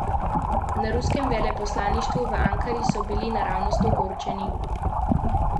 Na ruskem veleposlaništvu v Ankari so bili naravnost ogorčeni.